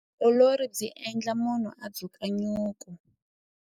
Vutiolori byi endla munhu a dzuka nyuku.